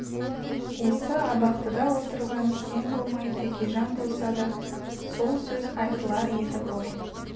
осы абақтыда отырған сен болмай тәкежан болса да сол сөз айтылар еді ғой